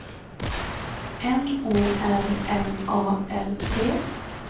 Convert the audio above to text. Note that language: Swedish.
N O R M A L T